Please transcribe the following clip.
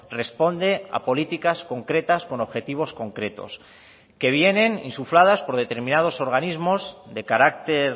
responde a políticas concretas con objetivos concretos que vienen insufladas por determinados organismos de carácter